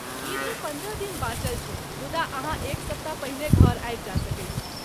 ईदमे पन्द्रह दिन बाँचल छैक मुदा अहाँ एक सप्ताह पहिने घर आबि जा सकैत छी।